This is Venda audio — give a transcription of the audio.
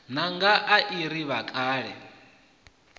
ṋanga i a ri vhakale